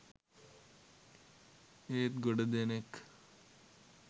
"ඒත් ගොඩදෙනෙක්